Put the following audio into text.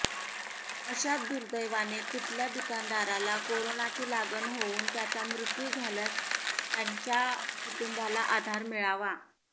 अशात दुर्दैवाने कुठल्या दुकानदाराला कोरोनाची लागण होऊन त्याचा मृत्यू झाल्यास त्याच्या कुटुंबाला आधार मिळावा